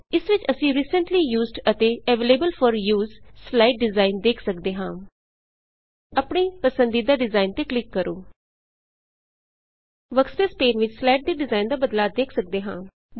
ਇਸ ਵਿੱਚ ਅਸੀ ਰੀਸੈਂਟਲੀ ਯੂਜ਼ਡ ਅਤੇ available for use slide slide design ਦੇਖ ਸਕਦੇ ਹਾਂ ਆਪਣੀ ਪਸੰਦੀਦਾ ਡਿਜ਼ਾਇਨ ਤੇ ਕਲਿੱਕ ਕਰੋ ਵਰਕਸਪੇਸ ਪੇਨ ਵਿੱਚ ਸਲਾਇਡ ਦੇ ਡਿਜ਼ਾਇਨ ਦਾ ਬਦਲਾਅ ਦੇਖ ਸਕਦੇ ਹਾਂ